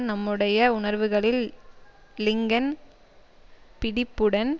நம்முடைய உணர்வுகளில் லிங்கன் பிடிப்புடன்